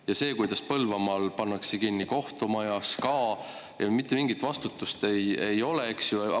Aga see, kuidas Põlvamaal pannakse kinni kohtumaja, SKA – mitte mingit vastutust ei ole!